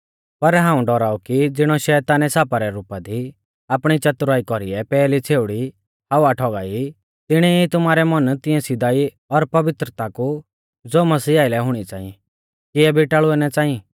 पर हाऊं डौराऊ कि ज़िणौ शैतानै सापा रै रुपा दी आपणी च़तुराई कौरीऐ पैहली छ़ेउड़ी हव्वा ठौगाई तिणी ई तुमारै मन तिऐं सीधाई और पवित्रता कु ज़ो मसीह आइलै हुणी च़ांई किऐ बिटाल़ुऐ ना च़ांई